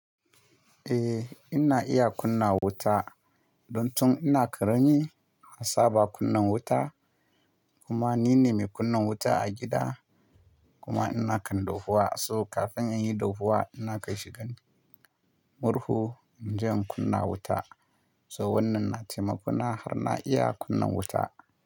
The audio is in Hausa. Eh, ina iya kunna wuta. Don tun ina karami, na saba kunna wuta kuma nine mai kunna wuta a gida kuma ina kan dahuwa. So kafin in yi dahuwa ina kai shi gani murhu, inje in kunna wuta. So wannan na taimako na har na iya kunna wuta.